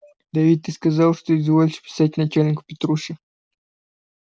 да ведь ты сказал что изволишь писать начальнику петруши